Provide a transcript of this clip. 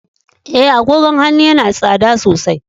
E, agogon hannun yana da tsada sosai.